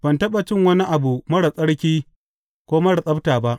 Ban taɓa cin wani abu marar tsarki ko marar tsabta ba.